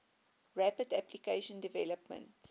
rapid application development